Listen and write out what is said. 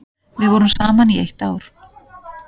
Við vorum saman í eitt ár.